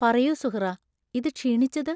പറയൂ സുഹ്റാ, ഇത് ക്ഷീണിച്ചത്?